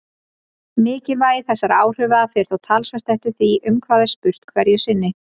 Mikilvægi þessara áhrifa fer þó talsvert eftir því um hvað er spurt hverju sinni.